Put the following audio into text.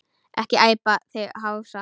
Ekki æpa þig hása!